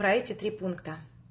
про эти три пункта